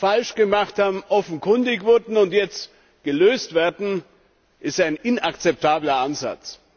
falsch gemacht haben, offenkundig wurden und jetzt gelöst werden, ist ein inakzeptabler Ansatz!